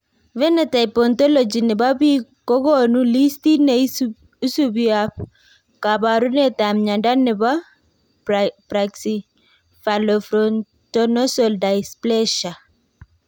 Phenotype Ontology ne po biik ko konu listiit ne isubiap kaabarunetap mnyando ne po Brachycephalofrontonasal dysplasia.